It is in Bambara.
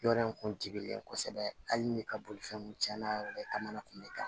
Yɔrɔ in kun ti kelen kosɛbɛ hali ni ka bolifɛn kun tiɲɛna kamana kun bɛ ta